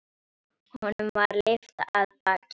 Honum var lyft af baki.